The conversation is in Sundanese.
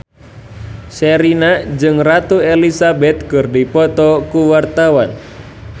Sherina jeung Ratu Elizabeth keur dipoto ku wartawan